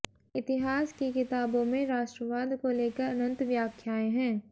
इतिहास की किताबों में राष्ट्रवाद को लेकर अनंत व्याख्याएं हैं